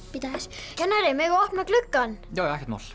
bíddu aðeins kennari megum við opna gluggann já ekkert mál